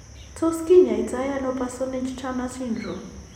Tos kinyaii to ano Parsonage Turner syndrome ?